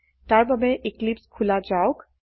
তাৰ বাবে এক্লিপছে খোলা যাওক